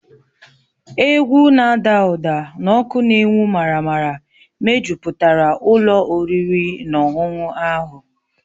Egwu na-ada ụda na ọkụ na-enwu maramara mejupụtara ụlọ oriri na ọṅụṅụ ahụ